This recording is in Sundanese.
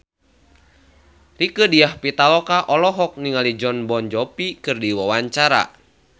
Rieke Diah Pitaloka olohok ningali Jon Bon Jovi keur diwawancara